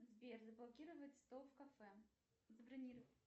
сбер заблокировать стол в кафе забронировать